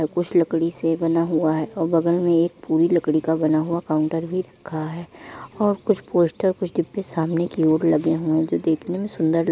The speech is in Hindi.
कुछ लकड़ी से बना हुआ है और बगल में एक पूरी लकड़ी का बना हुआ काउंटर भी रखा है और कुछ पोस्टर कुछ डिब्बे सामने की और लगे हुए हैं जो देखने में सुंदर ल --